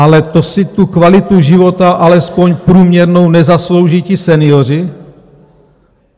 Ale to si tu kvalitu života, alespoň průměrnou, nezaslouží ti senioři?